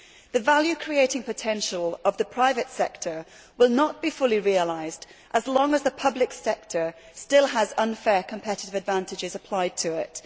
The value creating potential of the private sector will not be fully realised as long as the public sector still has unfair competitive advantages applied to it.